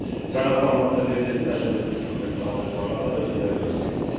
жаңа форматта берілетін әлеуметтік көмекті алушылар қатары едәуір өскен